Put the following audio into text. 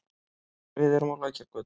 Við erum á Lækjargötu.